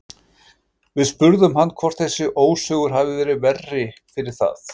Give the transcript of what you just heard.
Við spurðum hann hvort þessi ósigur hafi verið verri fyrir það?